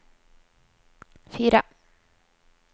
fire